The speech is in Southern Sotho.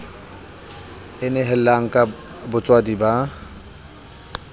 e nehelang ka botswadi ba